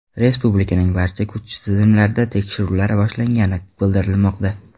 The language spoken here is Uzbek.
Respublikaning barcha kuch tizimlarida tekshiruvlar boshlangani bildirilmoqda.